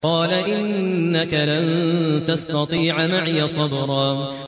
قَالَ إِنَّكَ لَن تَسْتَطِيعَ مَعِيَ صَبْرًا